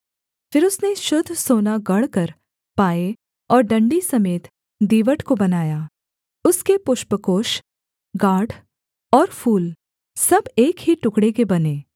फिर उसने शुद्ध सोना गढ़कर पाए और डण्डी समेत दीवट को बनाया उसके पुष्पकोष गाँठ और फूल सब एक ही टुकड़े के बने